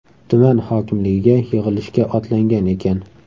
Tuman hokimligiga yig‘ilishga otlangan ekan.